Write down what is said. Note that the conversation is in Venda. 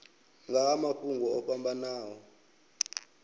nga ha mafhungo o fhambanaho